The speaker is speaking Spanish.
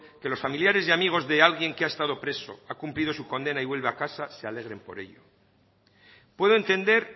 que los familiares y amigos de alguien que ha estado preso ha cumplido su condena y vuelve a casa se alegren por ello puedo entender